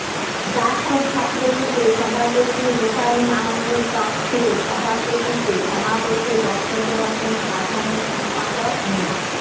জাসদ ছাত্রলীগের সভাপতি হোসাইন আহমেদ তফছিরের সভাপতিত্বে সমাবেশে বক্তব্য রাখেন সাধারণ সম্পাদক মো